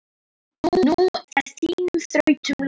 Nú er þínum þrautum lokið.